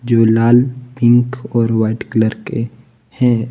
जो लाल पिंक और व्हाइट कलर के हैं।